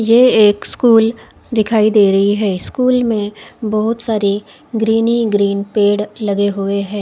ये एक स्कूल दिखाई दे रही है स्कूल में बोहोत सारी ग्रीन ही ग्रीन पेड़ लगे हुए है।